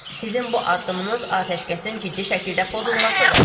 Sizin bu addımınız atəşkəsin ciddi şəkildə pozulmasıdır.